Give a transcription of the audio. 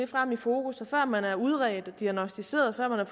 frem i fokus at før man er udredt og diagnosticeret før der